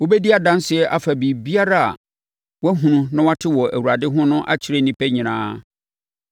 Wobɛdi adanseɛ afa biribiara a woahunu na woate wɔ Awurade ho no akyerɛ nnipa nyinaa.